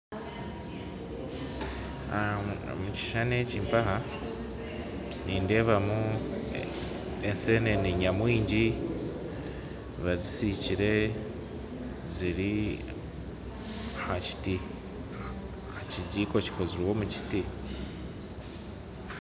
Omu kishuushani eki nindeebamu enseenene nyamwingi bazinsikire ziri aha kinjiko kikozirwe omu kiiti